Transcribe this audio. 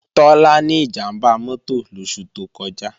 Tọ́lá ní ìjàmbá mọ́tò lóṣù tó kọjá